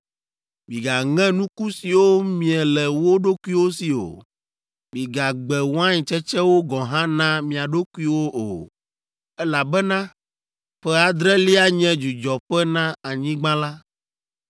Migaŋe nuku siwo mie le wo ɖokuiwo si o; migagbe wain tsetsewo gɔ̃ hã na mia ɖokuiwo o, elabena ƒe adrelia nye dzudzɔƒe na anyigba la.